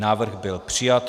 Návrh byl přijat.